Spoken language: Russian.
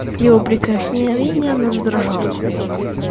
при его прикосновении она задрожала